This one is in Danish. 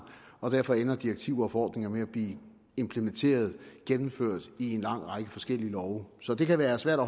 og derfor ender direktiver og forordninger med at blive implementeret gennemført i en lang række forskellige love så det kan være svært at